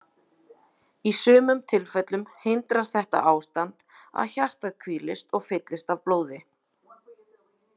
Í sumum tilfellum hindrar þetta ástand að hjartað hvílist og fyllist af blóði.